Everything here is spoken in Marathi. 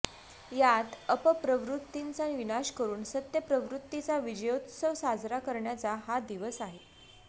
यात अपप्रवृत्तींचा विनाश करून सत्यप्रवृत्तीचा विजयोत्सव साजरा करण्याचा हा दिवस आहे